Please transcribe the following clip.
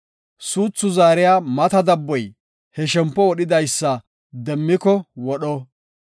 Suuthu zaariya mata dabboy he shempo wodhidaysa demmiko wodho.